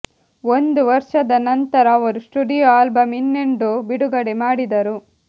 ಒಂದು ವರ್ಷದ ನಂತರ ಅವರು ಸ್ಟುಡಿಯೊ ಆಲ್ಬಮ್ ಇನ್ನೆಂಡೋ ಬಿಡುಗಡೆ ಮಾಡಿದರು